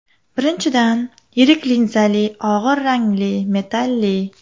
Birinchidan, yirik linzali og‘ir rangli, metalli.